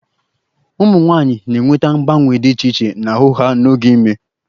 Ụmụ nwanyị na-enweta mgbanwe dị iche iche n'ahụ ha n'oge ime